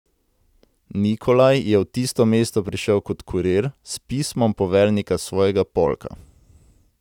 Nikolaj je v tisto mesto prišel kot kurir, s pismom poveljnika svojega polka.